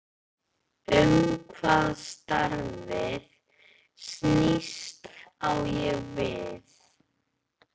Um hvað starfið snýst, á ég við